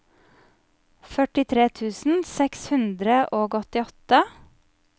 førtitre tusen seks hundre og åttiåtte